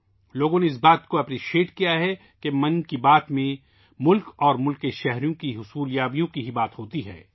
لوگوں نے اس بات کی تعریف کی ہے کہ 'من کی بات' میں صرف ملک اور اہل وطن کی کامیابیوں کی ہی بات کی جاتی ہے